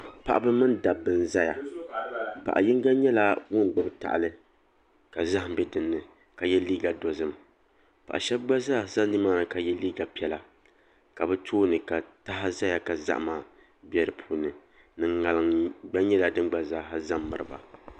Paɣaba mini dabba n ʒɛya paɣa yinga nyɛla ŋun gbubi tahali ka zaham bɛ dinni ka yɛ liiga dozim paɣa shab gba zaa ʒɛ nimaani ka yɛ liiga piɛla ka bi tooni ka taha ʒɛya ka zahama bɛ di puuni ni ŋarim gba zaa nyɛla din gba ʒɛ n miriba